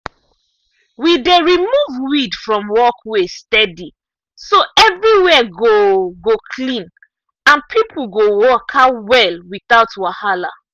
we dey remove weed from walkway steady so everywhere go go clean and people go waka well without wahala.